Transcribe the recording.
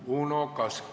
Uno Kaskpeit, palun!